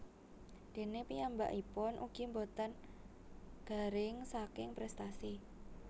Déné piyambakipun ugi boten garing saking prestasi